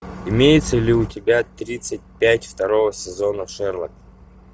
имеется ли у тебя тридцать пять второго сезона шерлок